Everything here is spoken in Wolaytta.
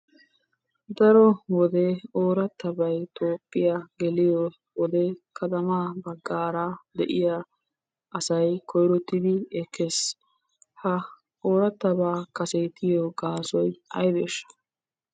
Daro wode oorattabatay Toophphiyaa geliyo wode katamaa baggaara de'iya asay koyirottidi ekkes. Ha oorattabaa kasetiyoo gaasoy aybeeshsha?